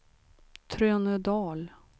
Trönödal